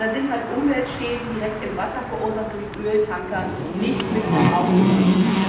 Aber darin sind halt Umweltschäden, direkt im Wasser verursacht durch Öltanker, nicht mit aufgenommen.